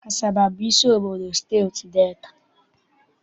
Asaba bụ isi obodo Steeti Delta.